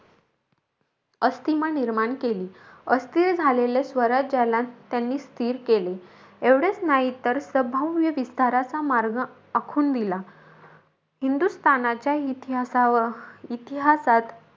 अस्थीमा निर्माण केली. अस्थिर झालेले स्वराज्याला त्यांनी स्थिर केले. एवढेचं नाही तर, सभव्य विस्ताराचा मार्ग आखून दिला. हिंदस्थानाच्या इतिहा इतिहासात,